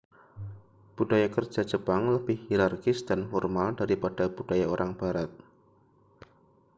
budaya kerja jepang lebih hierarkis dan formal daripada budaya orang barat